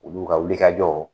Olu ka wuli ka jɔ.